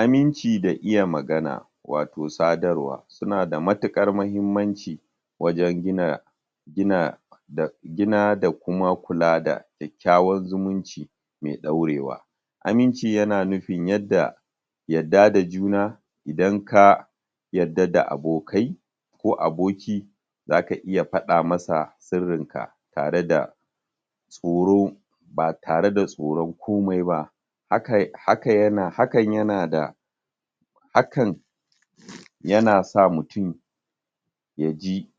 aminci da iya magana wato sadarwa sunada matukar mahimmanci wajan gina gina da gina da kuma kula da kyakyawan zumunci me daurewa aminci yana nufi yanda yadda da juna idan ka yadda da abokai ko aboki zaka iya fada masa sirrin ka tareda tsoro ba tareda tsoron komai ba haka haka yana hakan yanada hakan yana sa mutum yaji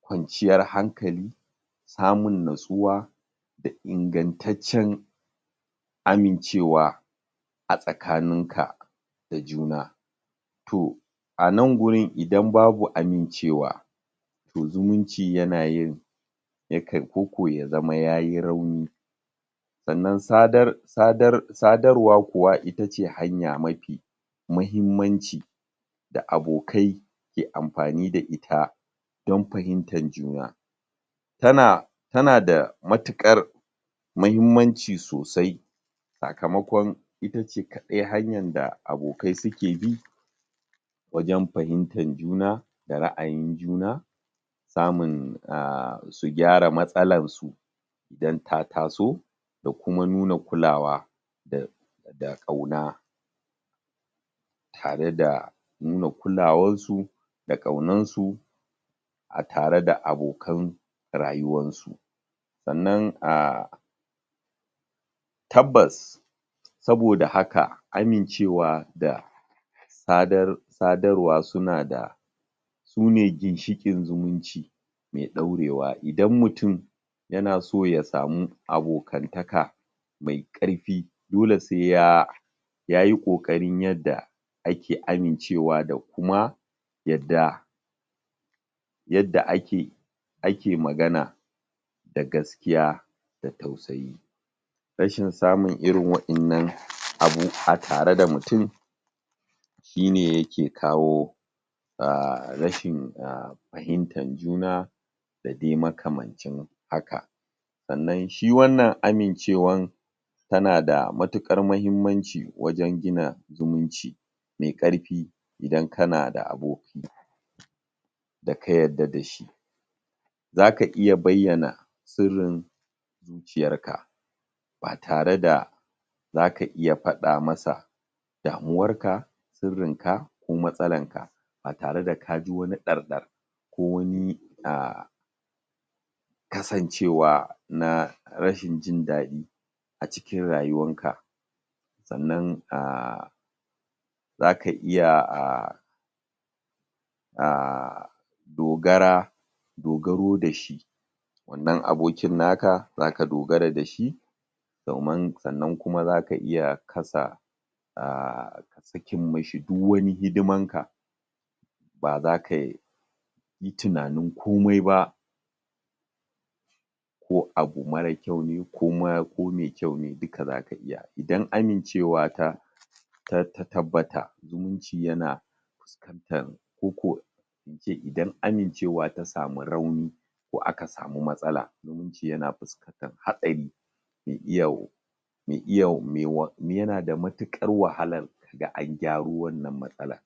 kwanciyar hankali samun natsuwa da ingantaccen amincewa a tsakaninka da juna toh anan gurin idan babu amincewa to zumunci yanayin ya kan ko ko ya zama yayi rauni sa'anan sadar sadar sadarwa kuwa itace hanya mafi mahimmanci da abokai ke amfani da ita don fahimtan juna tana tanada matukar mahimmanci sosai sakamakon itace kadai hanyarda abokai suke bi wajan fahimtan juna da ra'ayin juna samun um su gyara matsalarsu idan ta taso da kuma nuna kulawa da da kauna tareda nuna kulawansu da kaunansu atare da abokan rayuwan su sa'anan um tabbas saboda haka amincewa da sadar sadarwa sunada sune ginshikin zumunci mai daurewa idan mutum yanaso yasamu abokantaka mai karfi dole se ya yayi kokari yadda ake amincewa da kuma yadda yadda ake ake magana da gaskiya da tausayi rashin samun irin wa'ennan abu a tareda mutun shine yake kawo a rashin a fahimtan juna dade makamancin haka sa'anan shi wannan amincewan tanada matukar mahimmanci wajan gina zumunci me karfi idan kanada aboki daka yarda dashi zaka iya bayyana sirrin zuciyarka ba tareda zaka iya fada masa damuwarka sirrinka ko matsalanka ba tare da kaji wani dar dar ko wani a kasancewa na rashin jin dadi acikin rayuwanka sannan a zaka iya um dogara dogaro dashi wannan abokin naka zaka dogara dashi domin sannan zaka iya kasa um saki mashi due wani hidimanka baza kayi tunanin komai ba ko abu mara kyau ne koma ko mai kyau ne zaka iya idan amincewata ta ta tabbata zumunci yana ko ko ince idan amincewa tasamu rauni ko aka samu matsala zumunci yana fuskantar hasari mai iya yanada matukar wahala kaga an agyaro wannan matsala.